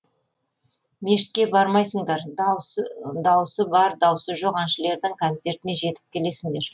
мешітке бармайсыңдар даусы даусы бар даусы жоқ әншілердің кәнцертіне жетіп келесіңдер